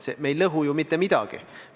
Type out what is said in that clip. Me ei lõhu mitte midagi.